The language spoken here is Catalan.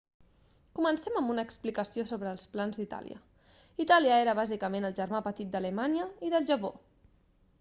comencem amb una explicació sobre els plans d'itàlia itàlia era bàsicament el germà petit d'alemanya i del japó